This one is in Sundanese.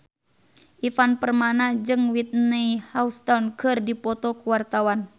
Ivan Permana jeung Whitney Houston keur dipoto ku wartawan